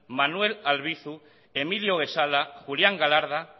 manuel albizu emilio guezala julián galarda